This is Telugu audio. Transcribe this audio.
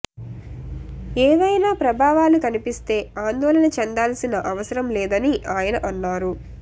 ఏవైనా ప్రభావాలు కనిపిస్తే ఆందోళన చెందాల్సిన అవసరం లేదని ఆయన అన్నారు